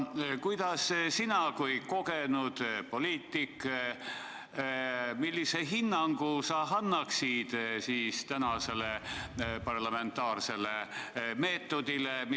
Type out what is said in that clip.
Sina kui kogenud poliitik, millise hinnangu sa annaksid tänasele parlamentaarsele meetodile?